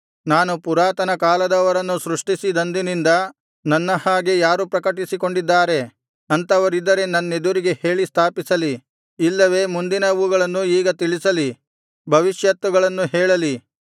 ನಾನು ಪುರಾತನ ಕಾಲದವರನ್ನು ಸೃಷ್ಟಿಸಿದಂದಿನಿಂದ ನನ್ನ ಹಾಗೆ ಯಾರು ಪ್ರಕಟಿಸಿಕೊಂಡಿದ್ದಾರೆ ಅಂಥವರಿದ್ದರೆ ನನ್ನೆದುರಿಗೆ ಹೇಳಿ ಸ್ಥಾಪಿಸಲಿ ಇಲ್ಲವೆ ಮುಂದಿನವುಗಳನ್ನು ಈಗ ತಿಳಿಸಲಿ ಭವಿಷ್ಯತ್ತುಗಳನ್ನು ಹೇಳಲಿ